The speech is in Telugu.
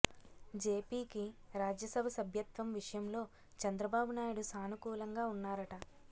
జేపీకి రాజ్యసభ సభ్యత్వం విషయంలో చంద్రబాబు నాయుడు సానుకూలంగా ఉన్నారట